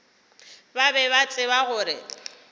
ba be ba tseba gore